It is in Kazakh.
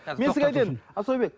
мен сізге айтайын асаубек